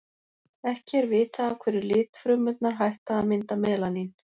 ekki er vitað af hverju litfrumurnar hætta að mynda melanín